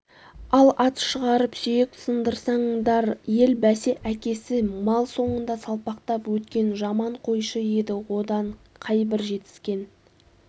ал ат шығарып сүйек сындырсаңдар ел бәсе әкесі мал соңында салпақтап өткен жаман қойшы еді одан қайбір жетіскен